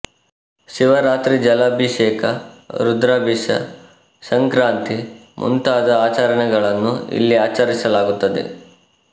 ಶಿವರಾತ್ರಿ ಜಲಭೀಶಕ ರುದ್ರಭೀಶ ಸಂಕ್ರಾಂತಿ ಮುಂತಾದ ಆಚರಣೆಗಳನ್ನು ಇಲ್ಲಿ ಆಚರಿಸಲಾಗುತ್ತದೆ